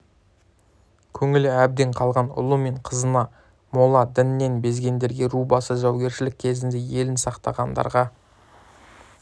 көңілі әбден қалған ұлы мен қызына молла діннен безгендерге ру басы жаугершілік кезінде елін сатқандарға